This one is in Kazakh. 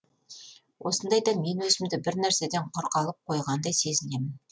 осындайда мен өзімді бір нәрседен құр қалып қойғандай сезінемін